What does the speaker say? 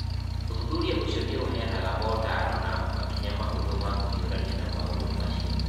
Ũthuthuria ũcio nĩ ũheanaga motaaro na makinya mahũthũ ma kũhiũrania na maũndũ macio.